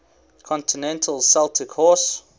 continental celtic horse